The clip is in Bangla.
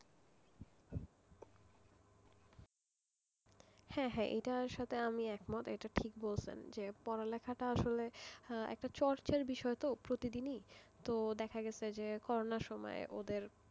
হ্যাঁ হ্যাঁ এটার সাথে আমি একমত এটা ঠিক বলছেন যে পড়া লেখাটা আসলে একটা চর্চার বিষয় তো প্রতিদিনই তো দেখা গেছে যে করোনা সময় ওদের,